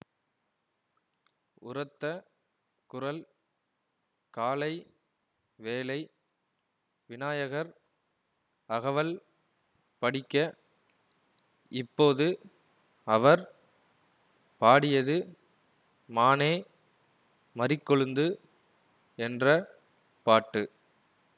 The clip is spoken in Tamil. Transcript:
உரத்த குரல் காலை வேளை விநாயகர் அகவல் படிக்க இப்போது அவர் பாடியது மானே மரிக்கொழுந்து என்ற பாட்டு